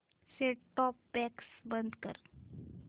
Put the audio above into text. set top box बंद कर